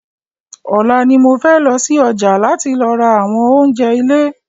Ọ̀la ni mo fẹ́ lọsí ọjà láti lọ ra àwọn oúnjẹ ilé